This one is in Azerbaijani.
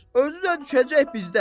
Özü də düşəcək bizdə.